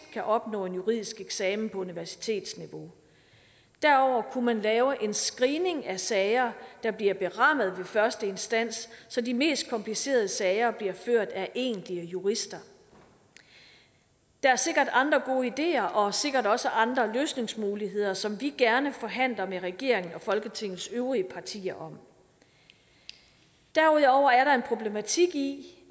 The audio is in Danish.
opnå en juridisk eksamen på universitetsniveau derudover kunne man lave en screening af sager der bliver berammet ved første instans så de mest komplicerede sager bliver ført af egentlige jurister der er sikkert andre gode ideer og sikkert også andre løsningsmuligheder som vi gerne forhandler med regeringen og folketingets øvrige partier om derudover er der en problematik i